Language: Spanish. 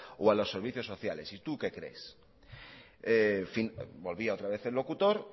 o a los servicios sociales y tú qué crees volvía otra vez el locutor